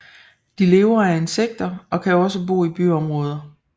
De lever af insekter og kan også bo i byområder